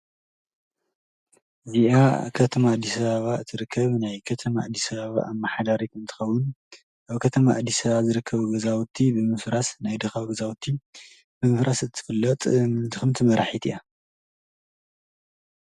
እዚኣ ኣብ ከተማ ኣዲስ ኣበባ ትርከብ ናይ ከተማ ኣዲ ኣበባ ኣማሕዳሪት እንትከዉን ኣብ ከተማ ኣዲስ ኣበባ ዝርከቡ ብምፍራስ ናይ ድካ ገዛዉቲ ብምፍራስ እትፍለጥ ድክምቲ መራሒት እያ።